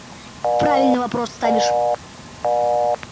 правильно вопрос ставишь